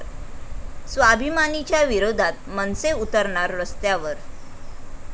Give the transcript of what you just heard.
स्वाभिमानी'च्या विरोधात मनसे उतरणार रस्त्यावर